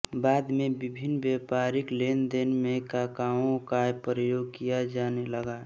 बाद में विभिन्न व्यापारिक लेनदेन में काकाओ का प्रयोग किया जाने लगा